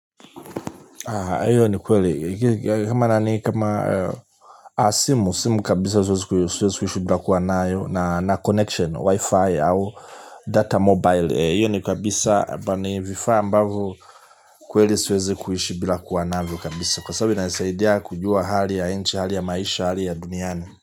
Hiyo ni kweli kama nani kama simu kabisa siwezi kuhishi bila kuwa nayo na connection wi-fi au data mobile. Hiyo ni kabisa bani vifaa ambavo kweli siwezi kuhishi bila kuwa navyo kabisa. Kwa sababu inanisaidia kujua hali ya nchi hali ya maisha hali ya duniani.